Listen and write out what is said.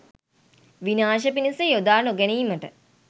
විනාශය පිණිස යොදා නොගැනීමට